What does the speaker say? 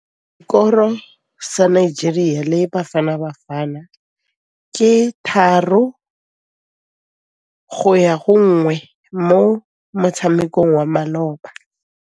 Sekôrô sa Nigeria le Bafanabafana ke 3-1 mo motshamekong wa malôba.